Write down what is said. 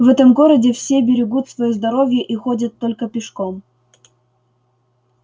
в этом городе все берегут своё здоровье и ходят только пешком